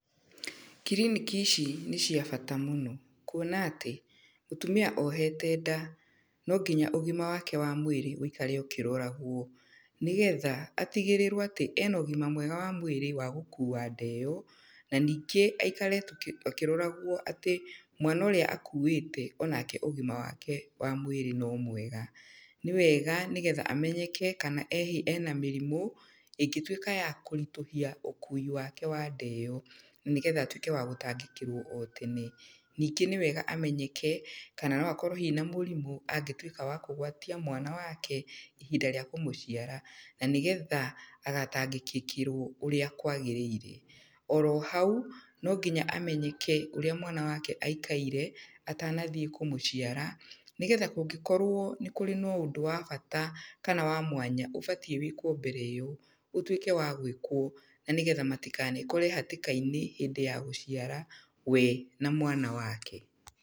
Kiriniki ici nĩ cia bata mũno. Kuona atĩ, mũtumia ohete nda, no nginya ũgima wake wa mwĩrĩ, wĩikare ũkĩroragwo. Nĩgetha, atigĩrĩrwo atĩ, ena ũgima mwega wa mwĩrĩ wa gũkuua nda ĩyo, na ningĩ aikare akĩroragwo atĩ, mwana ũrĩa akuĩte, onake ũgima wake wa mwĩrĩ no mwega. Nĩ wega nĩgetha amenyeke kana ena mĩrimũ, ĩngĩtuĩka ya kũritũhia ũkuui wake wa nda ĩyo. Na nĩgetha atuĩke wa gũtangĩkĩrwo o tene. Ningĩ nĩ wega amenyeke, kana no akorwo hihi na mũrimũ angĩtuĩka wa kũgwatia mwana wake, ihinda rĩa kũmũciara. Na nĩgetha agatangĩkĩkĩrwo ũrĩa kwagĩrĩire. Oro hau, no nginya amenyeke ũrĩa mwana wake aikaire, atanathiĩ kũmũciara, nĩgetha kũngĩkorwo nĩ kũrĩ na ũndũ wa bata kana wa mwanya ũbatiĩ wĩkwo mbere ĩyo, ũtuĩke wa gwĩkwo. Na nĩgetha matinakore hatĩka-inĩ hĩndĩ ya gũciara, we na mwana wake.